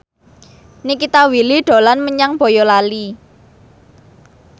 Nikita Willy dolan menyang Boyolali